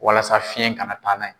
Walasa fiɲɛ ka na taa n'a ye.